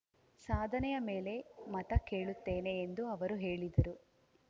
ಸಾಧನೆಯ ಮೇಲೆ ಮತ ಕೇಳುತ್ತೇನೆ ಎಂದು ಅವರು ಹೇಳಿದರು